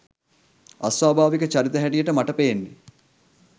අස්වාභාවික චරිත හැටියට මට පේන්නේ.